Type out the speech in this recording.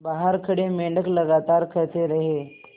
बाहर खड़े मेंढक लगातार कहते रहे